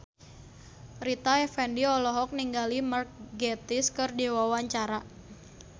Rita Effendy olohok ningali Mark Gatiss keur diwawancara